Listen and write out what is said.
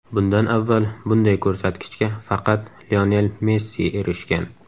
Bundan avval bunday ko‘rsatkichga faqat Lionel Messi erishgan.